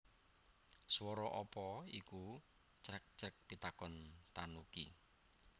Swara apa iku crek crek pitakon tanuki